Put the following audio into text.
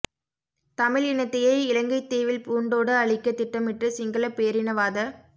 தமிழ் இனத்தையே இலங்கைத் தீவில் பூண்டோடு அழிக்க திட்டமிட்டு சிங்களப் பேரினவாத